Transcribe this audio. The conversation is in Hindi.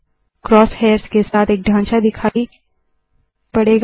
क्रोस हेयर्स के साथ एक ढांचा दिखाई पड़ता है